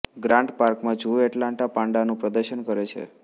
grant પાર્કમાં zoo Atlanta પાન્ડાનું પ્રદર્શન કરે છે